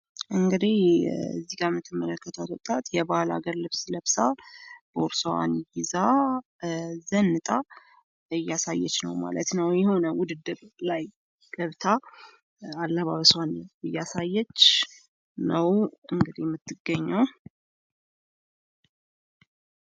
እንግዲህ ከዚህ ጋ የምትመለከቷት ወጣት የባህል ልብስ ለብሳ ቦርሳዋን ይዛ ዘንጣ እያሳያች ነው ማለት ነው። የሆነ ውድድር ላይ ገብታ አለባበሷን እያሳየች ነው እንግዲህ የምትገኘው።